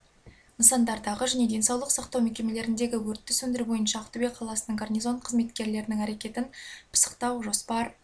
нысандардағы және денсаулық сақтау мекемелеріндегі өртті сөндіру бойынша ақтөбе қаласының гарнизон қызметкерлерінің әрекетін пысықтау жоспар